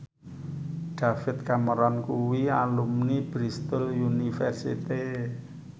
David Cameron kuwi alumni Bristol university